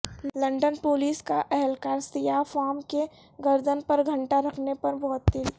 London police کا اہلکار سیاہ فام کی گردن پر گھٹنا رکھنے پر معطل